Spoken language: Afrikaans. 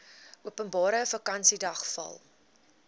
openbare vakansiedag val